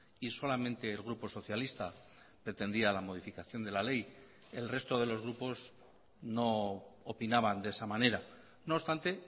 y solamente el grupo socialista pretendía la modificación de la ley el resto de los grupos no opinaban de esa manera no obstante